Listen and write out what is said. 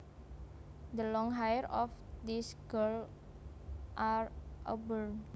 The long hair of this girl are auburn